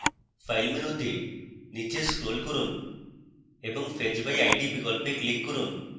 file মেনুতে নীচে scroll করুন এবং fetch by id বিকল্পে click করুন